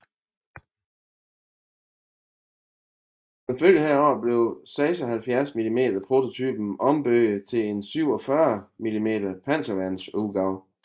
Som følge heraf blev 76 mm prototypen ombygget til en 47 mm panserværns udgave